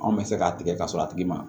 Anw bɛ se k'a tigɛ ka sɔrɔ a tigi ma